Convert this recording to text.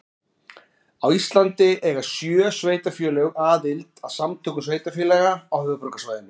Á Íslandi eiga sjö sveitarfélög aðild að Samtökum sveitarfélaga á höfuðborgarsvæðinu.